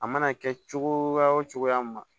A mana kɛ cogo o cogoya ma